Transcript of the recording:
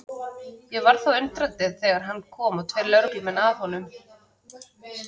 Ég varð þó undrandi þegar hann kom og tveir lögreglumenn með honum.